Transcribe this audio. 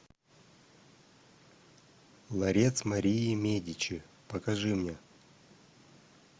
ларец марии медичи покажи мне